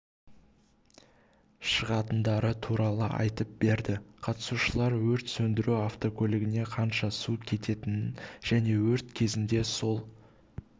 шығатындары туралы айтып берді қатысушылар өрт сөндіру автокөлігіне қанша су кететінін және өрт кезінде сол